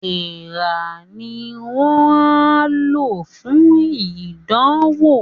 Èèrà ni wọ́n á lò fún ìdánwò